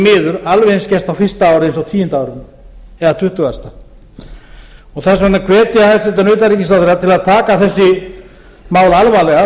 miður alveg eins gerst á fyrsta ári eins og á tíunda árinu eða tuttugasta þess vegna hvet ég hæstvirtan utanríkisráðherra til að taka þessi mál alvarlega